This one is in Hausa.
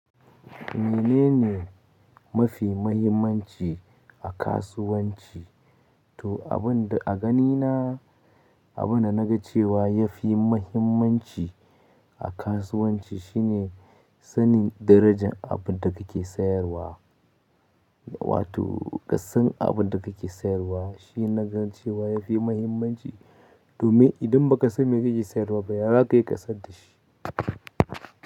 Menene mafi mahimmanci a kasuwanci? To, abin da a ganina, abin da naga cewa yafi mahimmanci a kasuwanci shine sanin darajan abin da kake sayarwa. Wato ƙasan abin da kake sayarwa shi naga cewa yafi mahimmanci domin idan baka san me kake sayarwa ba ya zaka yi kasadda shi.